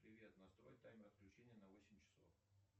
привет настрой таймер отключения на восемь часов